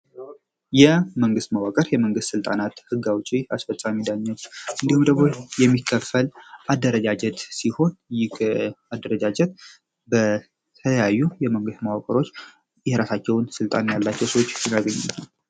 መንግስት መዋቅር የመንግስት ስልጣናት ህግ አውጪ አስፈጻሚዎች የሚከፈል አደረጃጀት ህጋዊ አደረጃጀት የራሳቸውን ስልጣን ያላቸው ሰዎች